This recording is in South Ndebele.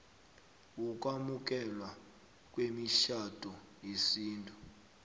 wokwamukelwa kwemitjhado yesintu